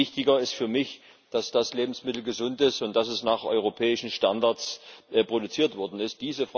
Viel wichtiger ist für mich, dass das Lebensmittel gesund ist und dass es nach europäischen Standards produziert worden ist.